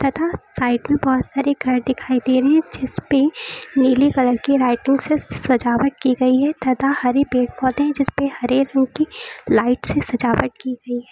तथा साइड मे बहोत सारी घर दिखाई दे रही है जिसपे नीली कलर की लाइटिंग से सजावट की गई है तथा हरी पेड़ पौधे जिसपे हरे रंग की लाइट से सजावट की गई है।